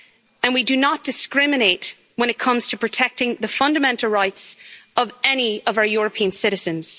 And we do not discriminate when it comes to protecting the fundamental rights of any of our European citizens.